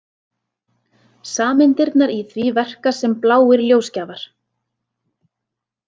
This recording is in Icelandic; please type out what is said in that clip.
Sameindirnar í því verka sem bláir ljósgjafar.